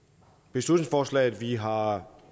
beslutningsforslag vi har